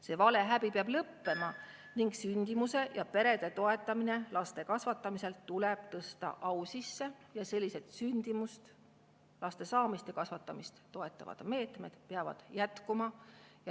See valehäbi peab lõppema ning sündimuse ja perede toetamine laste kasvatamisel tuleb tõsta au sisse ning sellised sündimust, laste saamist ja kasvatamist toetavad meetmed peavad jätkuma.